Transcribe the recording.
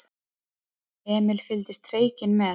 Emil fylgdist hreykinn með.